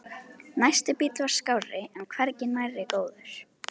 Næsti bíll var skárri en hvergi nærri góður.